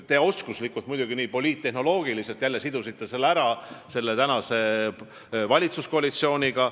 Te muidugi poliittehnoloogiliselt ja oskuslikult sidusite selle jälle praeguse valitsuskoalitsiooniga.